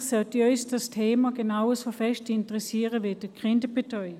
Eigentlich sollte uns dieses Thema genau so sehr interessieren wie die Kinderbetreuung.